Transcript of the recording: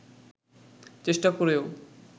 চেষ্টা করেও